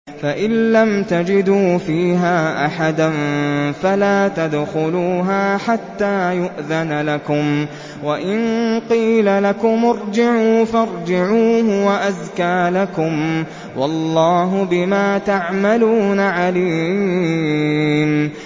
فَإِن لَّمْ تَجِدُوا فِيهَا أَحَدًا فَلَا تَدْخُلُوهَا حَتَّىٰ يُؤْذَنَ لَكُمْ ۖ وَإِن قِيلَ لَكُمُ ارْجِعُوا فَارْجِعُوا ۖ هُوَ أَزْكَىٰ لَكُمْ ۚ وَاللَّهُ بِمَا تَعْمَلُونَ عَلِيمٌ